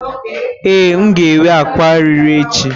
Ee, m ga-enwe ákwà ọrịre echi.